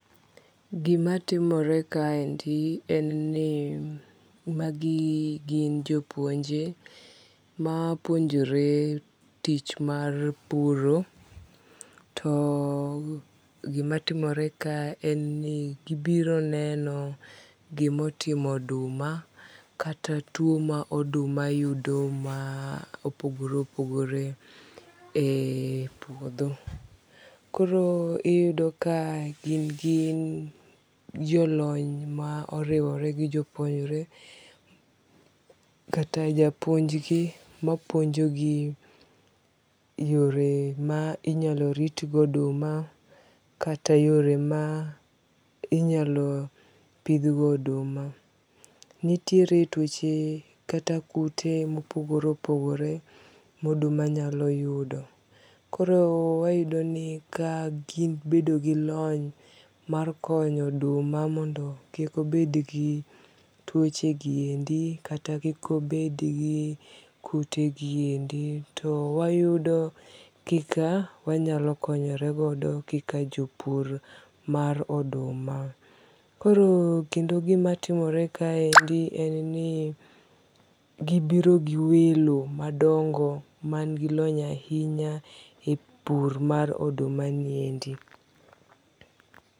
Gima timore kaendi en ni magi gin jopuonje ma puonjore tich mar puro. To gimatimore ka en ni gibiro neno gimotimo oduma kata tuo ma oduma yudo ma opogore opogore e puodho. Koro iyudo ka gin jolony ma oriwore gi jopuonjre kata japuonj gi mapuonjo gi yore ma inyalo rit go oduma kata yore ma inyalo pidh go oduma. Nitiere tuoche kata kute mopogore opogore ma oduma nyalo yudo. Koro wayudo ni ka gibedo gi lony mar konyo oduma mondo kik obed gi tuoche gi endi kata kik obed gi kute gi endi to wayudo kaka wanyalo konyore godo kaka jopur mar oduma. Koro kendo gima timore kaendi en ni gibiro gi welo madongo man gi lony ahinya e pur mar oduma ni endi.